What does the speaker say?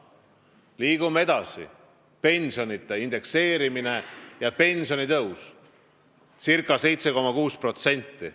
Liigume edasi, pensionide indekseerimine ja pensionitõus ca 7,6%.